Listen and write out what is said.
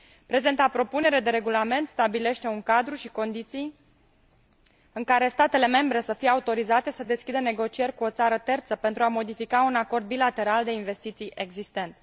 Prezenta propunere de regulament stabilește un cadru și condiții în care statele membre să fie autorizate să deschidă negocieri cu o țară terță pentru a modifica un acord bilateral de investiții existent.